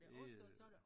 Det øh